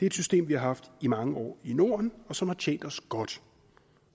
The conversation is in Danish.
et system vi har haft i mange år i norden og som har tjent os godt